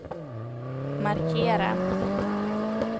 markera